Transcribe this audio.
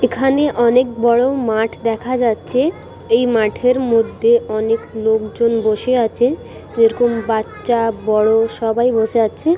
এখানে অনেক বড় মাঠ দেখা যাচ্ছে। এই মাঠের মধ্যে অনেক লোকজন বসে আছে যেরকম বাচ্চা বড় সবাই বসে আছে।